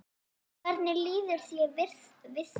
Hvernig líður þér við það?